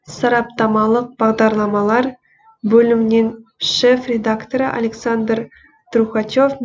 сараптамалық бағдарламалар бөлімінен шеф редакторы александр трухачев